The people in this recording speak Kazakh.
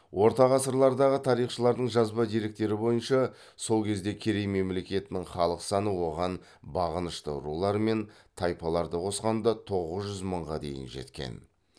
орта ғасырлардағы тарихшыларының жазба деректері бойынша сол кезде керей мемлекетінің халық саны оған бағынышты рулар мен тайпаларды қосқанда тоғыз жүз мыңға дейін жеткен